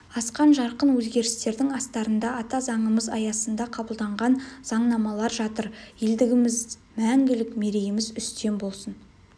асқан жарқын өзгерістердің астарында ата заңымыз аясында қабылданған заңнамалар жатыр елдігіміз мңгілік мерейіміз үстем болсын